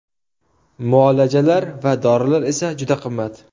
Muolajalar va dorilar esa juda qimmat.